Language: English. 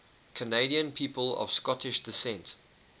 canadian people of scottish descent